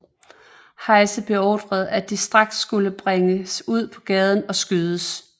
Heise beordrede at de straks skulle bringes ud på gaden og skydes